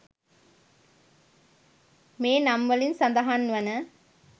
මේ නම්වලින් සඳහන් වන